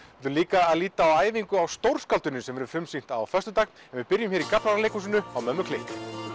líka að líta á æfingu á stórskáldinu sem verður frumsýnt á föstudag en við byrjum hér í Gaflaraleikhúsinu á mömmu klikk